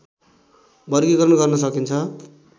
वर्गीकरण गर्न सकिन्छ